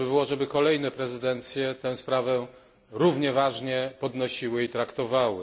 Dobrze by było, żeby kolejne prezydencje tę sprawę równie poważnie podnosiły i traktowały.